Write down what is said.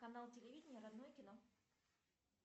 канал телевидения родное кино